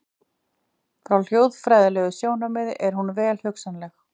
Frá hljóðfræðilegu sjónarmiði er hún vel hugsanleg.